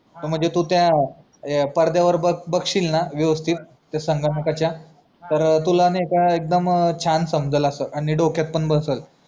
मी तू त्या पडद्यावर बघशिलना वेवस्थित त्या संगणकाचा तर तुला एकदम शान समजलं असं आणि डोक्यात पण बसलं